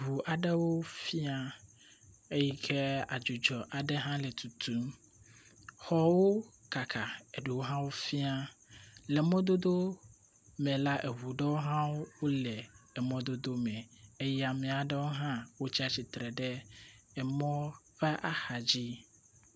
ŋu aɖewo fia, eyi ke adzudzɔ aɖewo hã le tutum, xɔwo kaka eɖewo hã fia, le mɔdodo me la, eŋu ɖo hã wole emɔ dodo me eye ame aɖewo wotsi tsitre ɖe emɔ ƒe axa dzi